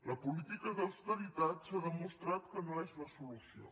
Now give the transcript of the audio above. la política d’austeritat s’ha demostrat que no és la solució